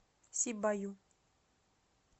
сибаю